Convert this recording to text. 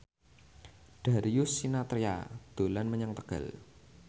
Darius Sinathrya dolan menyang Tegal